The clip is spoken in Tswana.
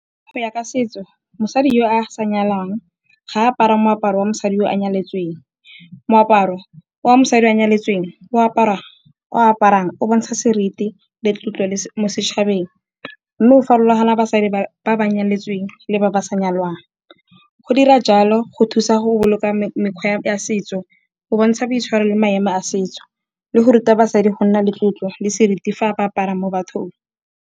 Go ya ka setso mosadi yo a sa nyalwang ga apara moaparo wa mosadi o a nyaletsweng. Moaparo wa mosadi a nyaletseweng o ao aparang o bontsha seriti le tlotlo mo setšhabeng. Mme go farologana basadi ba ba nyaletseweng le ba ba sa nyalwang. Go dira jalo go thusa go boloka mekgwa ya setso, go bontsha boitshwaro le maemo a setso, le go ruta basadi go nna le tlotlo le seriti fa ba apara mo bathong.